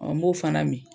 n b'o fana min